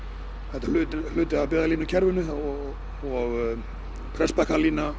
þetta er hluti af byggðalínukerfinu og